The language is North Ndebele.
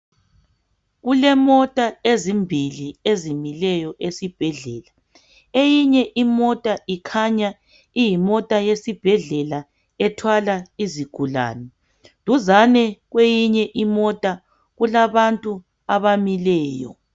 Kulemota ezimbili ezimileyo esibhedlela. Eyinye imota ikhanya iyimota yesibhedlela ethwala izigulane, duzane kweyinye imota kulabantu abamileyo.